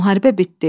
Müharibə bitdi.